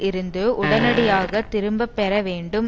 இருந்து உடனடியாக திரும்ப பெற வேண்டும்